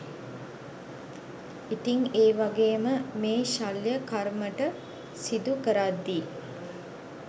ඉතිං ඒ වගේම මේ ශල්‍ය කර්මට සිඳු කරද්දී